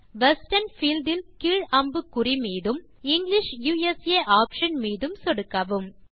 western field இல் கீழ் அம்புக்குறி மீதும் பின் இங்கிலிஷ் யுஎஸ்ஏ ஆப்ஷன் மீதும் சொடுக்கவும்